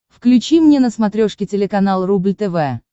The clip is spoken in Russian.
включи мне на смотрешке телеканал рубль тв